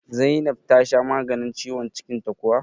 Zainab tasha maganin ciwon cikin ta kuwa?